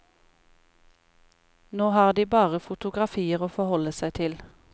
Nå har de bare fotografier å forholde seg til.